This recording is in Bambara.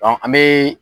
an bɛ